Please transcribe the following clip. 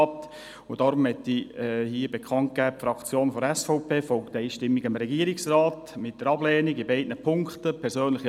Deshalb möchte ich hier bekannt geben, dass die SVP-Fraktion einstimmig dem Regierungsrat mit der Ablehnung in beiden Punkten folgt.